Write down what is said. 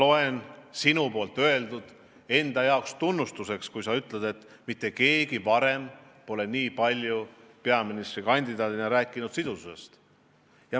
Ma võtan sinu öeldut tunnustusena, kui sa ütlesid, et mitte keegi pole peaministrikandidaadina nii palju rääkinud sidususest.